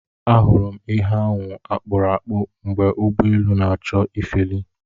Ahụrụ m ihe ahụ akpụrụ akpụ mgbe ụgbọ elu na-achọ ifeli.